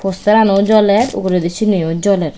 poster ano joler uguredi sini o joler.